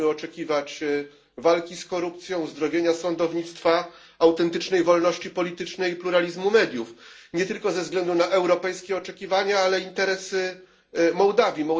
Musimy oczekiwać walki z korupcją, uzdrowienia sądownictwa, autentycznej wolności politycznej i pluralizmu mediów, nie tylko ze względu na europejskie oczekiwania, ale i interesy Mołdawii.